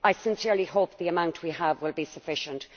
I sincerely hope the amount we have will be sufficient.